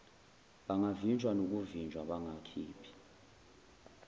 bangavinjwa nokuvinjwa bangakhiphi